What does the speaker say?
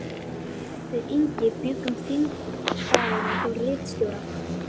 Við Ingi bjuggum þingdagana hjá ritstjóra